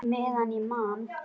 Meðan ég man!